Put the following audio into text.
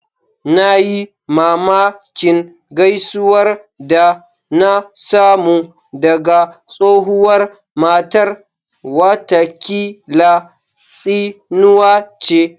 Na yi mamakin gaisuwar da na samu daga tsohuwar matar, watakila tsinuwa ce